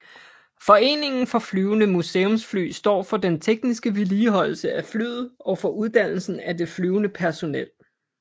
Foreningen For Flyvende Museumsfly står for den tekniske vedligeholdelse af flyet og for uddannelsen af det flyvende personnel